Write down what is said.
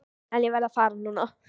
En ég verð að fara núna.